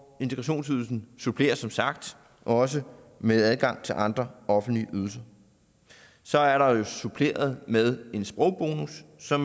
integrationsydelsen suppleres som sagt også med adgang til andre offentlige ydelser så er der suppleret med en sprogbonus så